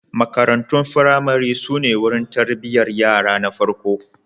Marantun firamare su ne wurin tarbiyyar yara na farko.